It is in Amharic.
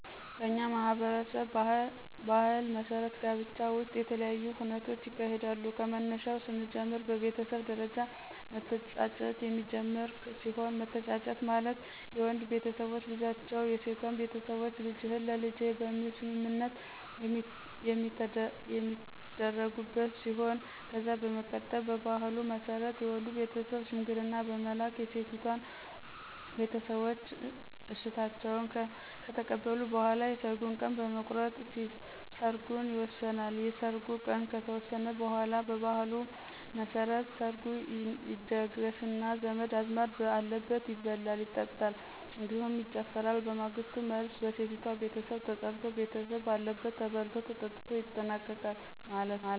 በእኛ ማህበረሰብ ባህል መሠረት ጋብቻ ውሰጥ የተለያዪ ሁነቶች ይካሄዳሉ ከመነሻው ሰንጀምር በቤተሰብ ደረጃ መተጫጨት የሚጀመር ሲሆን መተጫጨት ማለት የወንድ ቤተሰቦች ልጃቸው የሴቷን ቤተሰቦች ልጅህን ለልጄ በሚል ሰምምነት የሚተደርጉበት ሲሆን ከዛ በመቀጠል በባህሉ መሰረት የወንዱ ቤተሰብ ሸምንግልና በመላክ የሴቲቷን ቤተሰቦች እሸታቸውን ከተቀበሉ በኋላ የሰርጉን ቀን በመቁረጥ ሰርጉን ይወሰናል። የሰርጉ ቀን ከተወሰነ በኋላ በባህሉ መሰረት ሰርጉ ይደገሰና ዘመድ አዝማድ በአለበት ይበላል ይጠጣል እንዲሁም ይጨፈራል በማግሰቱ መልሰ በሚሰቲቷ ቤተሰብ ተጠራርቶ ቤተሰብ ባለበት ተበልቶ ተጠትቶ ይጠናቀቃል ማለት ነው።